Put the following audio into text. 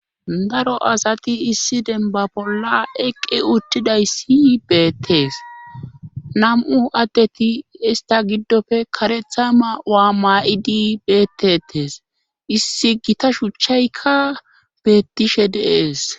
Daro asati issi demba bolla eqqi uttidayssi beettees nam'u addeti ista giddofe karetha ma waa maa'idi beettettes issi gita shuchchaykka beettishe deees.